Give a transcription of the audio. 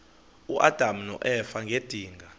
uadam noeva ngedinga